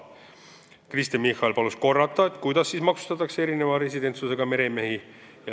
Kristen Michal palus korrata, kuidas siis maksustatakse erineva residentsusega meremehi.